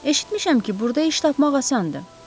Eşitmişəm ki, burda iş tapmaq asandır.